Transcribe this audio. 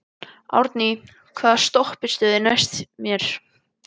Árný, hvaða stoppistöð er næst mér?